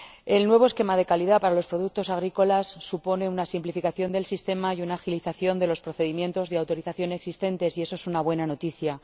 El nuevo esquema de calidad para los productos agrícolas supone una simplificación del sistema y una agilización de los procedimientos de autorización existentes, y eso es una buena noticia.